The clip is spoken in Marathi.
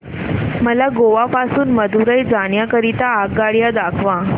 मला गोवा पासून मदुरई जाण्या करीता आगगाड्या दाखवा